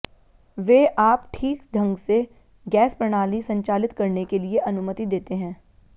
वे आप ठीक ढंग से गैस प्रणाली संचालित करने के लिए अनुमति देते हैं